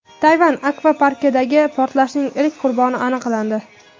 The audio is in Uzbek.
Tayvan akvaparkidagi portlashning ilk qurboni aniqlandi.